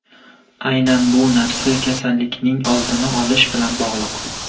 Aynan bu narsa kasallikning oldini olish bilan bog‘liq.